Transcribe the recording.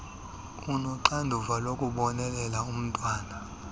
onoxanduva lokubonelela umntwana